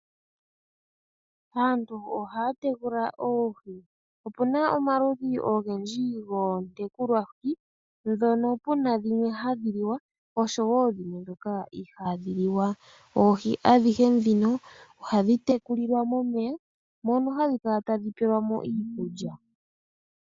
Aantu ohaya tekula oohi. Opuna omaludhi ogendji goontekulwa hi, ndhono puna dhimwa hadhi liwa osho woo dhimwe ihaadhi liwa. Oohi adhihe ndhino oha dhi tekulilwa momeya, mono hadhi kala tadhi pelwamo iikulya.